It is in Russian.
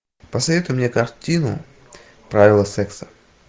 посоветуй мне картину правила секса